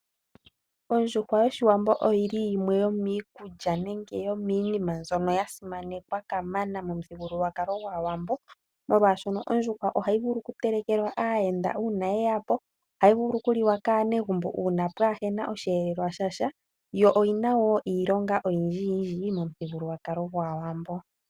Ondjuhwa yoshiwambo oyili yimwe yomiikulya nenge yominima mbyoka yasimanekwa kamana momuthigululwakalo goshiwambo, molwashoka ondjuhwa ohayi vulu okutelekelwa aayenda una yeya po, ohayi vulu okuliwa kaanegumbo una kapuna oshiyelelwa shasha yo oyina wo iilonga oyindji yindji momuthigululwakalo gwaawambo.